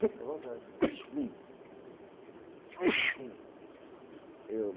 Fica à vontade.